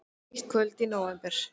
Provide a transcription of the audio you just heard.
Eitt kvöld í nóvember.